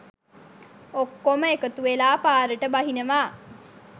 ඔක්කොම එකතුවෙලා පාරට බහිනවා.